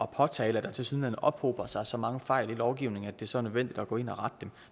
påtale at der tilsyneladende ophober sig så mange fejl i lovgivningen at det så er nødvendigt at gå ind og rette dem